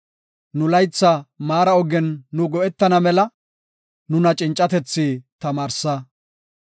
Nu laytha maara ogen nu go7etana mela, nuna cincatethi tamaarsa.